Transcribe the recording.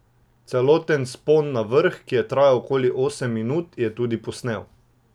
Celoten vzpon na vrh, ki je trajal okoli osem minut, je tudi posnel.